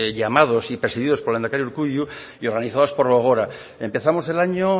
llamados y presididos por el lehendakari urkullu y organizados por gogora empezamos el año